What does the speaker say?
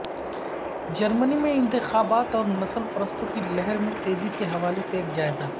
جرمنی میں انتخابات اور نسل پرستوں کی لہر میں تیزی کے حوالے سے ایک جائزہ